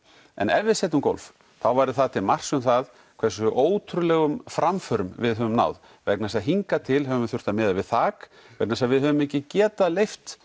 en ef við setjum gólf þá væri það til marks um það hversu ótrúlegum framförum við höfum náð vegna þess að hingað til höfum við þurft að miða við þak vegna þess að við höfum ekki getað leyft